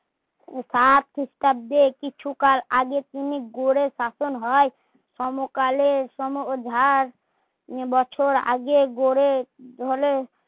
সাত খৃস্টাব্দে কিছু কাল আগে তিনি গড়ে শাসন হয় সমকালের সমভার বছর আগে গড়ে ঢলে